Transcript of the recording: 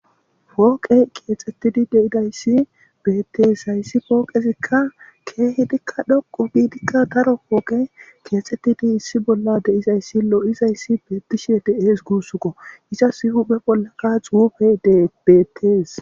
Pooqe keexxettidi deidayssi bettees hayssi pooqezikka keehidikka dhoqo biidikka taro pooqe keexxettidi issi bolla deizayssi lo7izayssi bettishe de7ees guussukko iza sihu pe bollaka xuufe debeettees.